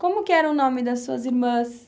Como que era o nome das suas irmãs?